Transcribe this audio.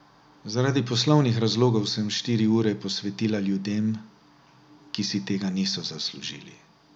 Zaradi poslovnih razlogov sem štiri ure posvetila ljudem, ki si tega niso zaslužili.